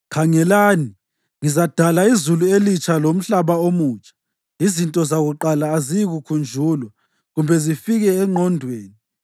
“Khangelani, ngizadala izulu elitsha lomhlaba omutsha. Izinto zakuqala aziyikukhunjulwa, kumbe zifike engqondweni.